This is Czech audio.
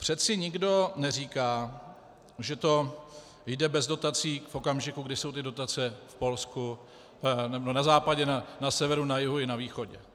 Přeci nikdo neříká, že to jde bez dotací v okamžiku, kdy jsou ty dotace v Polsku, na západě, na severu, na jihu i na východě.